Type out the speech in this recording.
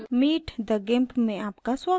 meet the gimp में आपका स्वागत है